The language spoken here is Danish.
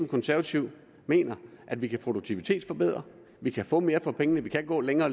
konservative mener at vi kan produktivitetsforbedre vi kan få mere for pengene vi kan gå længere